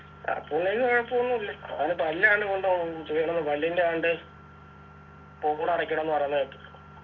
അപ്പുണ്ണിക്ക് കൊഴുപ്പൊന്നും ഇല്ല ഓന് പല്ലാണ് കൊണ്ടുപോകാൻ പല്ലിൻ്റെ ആണ്ട് പോഡ് അടക്കണംന്നു പറയുന്ന കേട്ടു